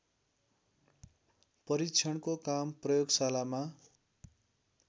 परिक्षणको काम प्रयोगशालामा